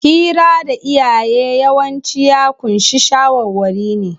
Hira da iyaye yawanci ya ƙunshi shawarwari ne.